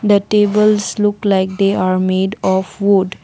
the tables look like they are made of wood.